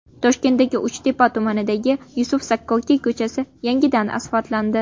Toshkentning Uchtepa tumanidagi Yusuf Sakkokiy ko‘chasi yangidan asfaltlandi.